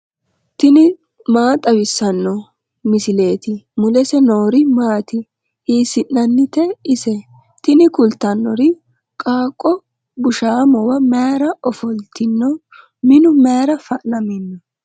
tini maa xawissanno misileeti ? mulese noori maati ? hiissinannite ise ? tini kultannori qaaqqo bushshaamowa mayra ofoltino minu mayra fa'namino